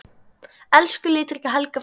Elsku litríka Helga frænka.